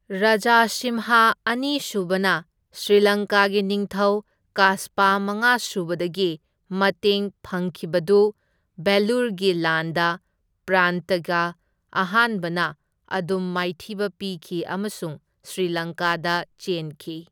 ꯔꯥꯖꯥꯁꯤꯝꯍꯥ ꯑꯅꯤ ꯁꯨꯕꯅ ꯁ꯭ꯔꯤꯂꯪꯀꯥꯒꯤ ꯅꯤꯡꯊꯧ ꯀꯥꯁꯄꯥ ꯃꯉꯥ ꯁꯨꯕꯗꯒꯤ ꯃꯇꯦꯡ ꯐꯪꯈꯤꯕꯗꯨ ꯚꯦꯂꯨꯔꯒꯤ ꯂꯥꯟꯗ ꯄꯔꯟꯇꯀꯥ ꯑꯍꯥꯟꯕꯅ ꯑꯗꯨꯝ ꯃꯥꯏꯊꯤꯕ ꯄꯤꯈꯤ ꯑꯃꯁꯨꯡ ꯁ꯭ꯔꯤꯂꯪꯀꯥꯗ ꯆꯦꯟꯈꯤ꯫